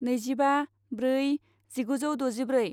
नैजिबा ब्रै जिगुजौ द'जिब्रै